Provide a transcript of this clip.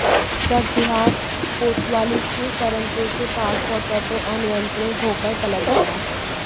truck देहात कोतवाली के करनपुर के पास पहुंचा तो अनियंत्रित होकर पलट गया